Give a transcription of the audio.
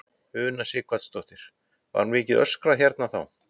Una Sighvatsdóttir: Var mikið öskrað hérna þá?